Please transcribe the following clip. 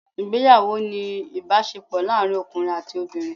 Ìgbéyàwó ni ìbásepò láàrin ọkùnrin àti obìnrin